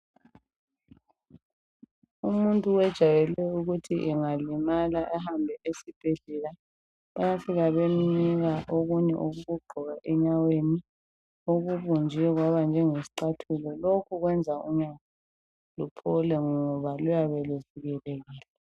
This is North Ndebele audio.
Umuntu wejwayele ukuthi engalimala ehambe esibhedlela bayafika bemnika okunye okokugqoka enyaweni okubunjwe kwaba njengesicathulo. Lokhu kwenza unyawo luphole ngoba luyabe luvikelekile.